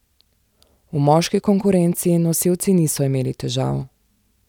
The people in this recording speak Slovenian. V moški konkurenci nosilci niso imeli težav.